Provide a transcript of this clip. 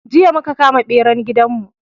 Jiya muka kama beran gidan mu